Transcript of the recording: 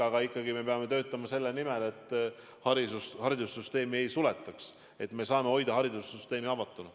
Aga me peame ikkagi töötama selle nimel, et haridussüsteemi ei suletaks, et me saaksime hoida haridussüsteemi avatuna.